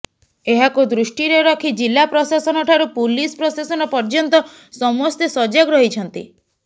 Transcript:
ଏହାକୁ ଦୃଷ୍ଟିରେ ରଖି ଜିଲ୍ଲା ପ୍ରଶାସନ ଠାରୁ ପୁଲିସ ପ୍ରଶାସନ ପଯ୍ୟର୍ନ୍ତ ସମସ୍ତେ ସଜାଗ ରହିଛନ୍ତି